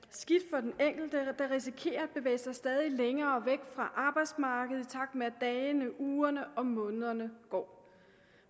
for den enkelte der risikerer at bevæge sig stadig længere væk fra arbejdsmarkedet i takt med at dagene ugerne og månederne går